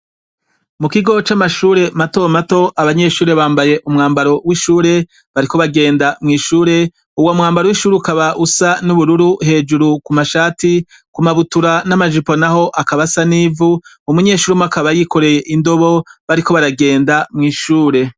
Mu kigo c' amashure mato mato, abanyeshure bambaye umwambaro w' ishure, bariko bagenda mw' ishure, uwo mwambaro w' ishure ukaba usa n' ubururu, hejuru ku mashati, ku mabutura n' amajipo naho akaba asa n' ivu, umunyeshuri umwe akaba yikoreye indobo, bariko baragenda mw' ishure.